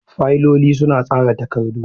Fayiloli suna tsara takardu.